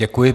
Děkuji.